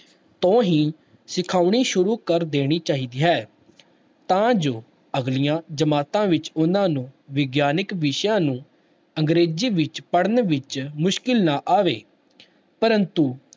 ਤੋਂ ਹੀ ਸਿਖਾਉਣੀ ਸ਼ੁਰੂ ਕਰ ਦੇਣੀ ਚਾਹੀਦੀ ਹੈ ਤਾਂ ਜੋ ਅਗਲੀਆਂ ਜਮਾਤਾਂ ਵਿੱਚ ਉਹਨਾਂ ਨੂੰ ਵਿਗਿਆਨਕ ਵਿਸ਼ਿਆਂ ਨੂੰ ਅੰਗਰੇਜ਼ੀ ਵਿੱਚ ਪੜ੍ਹਨ ਵਿੱਚ ਮੁਸ਼ਕਲ ਨਾ ਆਵੇ ਪ੍ਰੰਤੂ